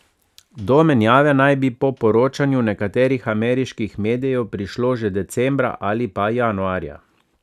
Do menjave naj bi po poročanju nekaterih ameriških medijev prišlo že decembra ali pa januarja.